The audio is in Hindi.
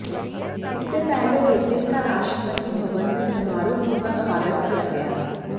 इससे पहले रिवलिन का राष्ट्रपति भवन में समारोह पूर्वक स्वागत किया गया